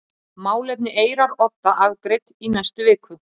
Málefni Eyrarodda afgreidd í næstu viku